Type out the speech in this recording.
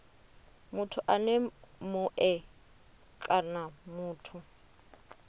muthu ene mue kana muthu